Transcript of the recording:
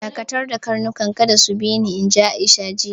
Dakatarda karnukan, kada su bi ni, inji Aisha, jiya.